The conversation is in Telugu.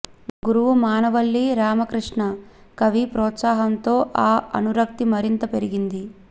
గురువు మానవల్లి రామకృష్ణ కవి ప్రోత్సాహంతో ఆ అనురక్తి మరింత పెరిగింది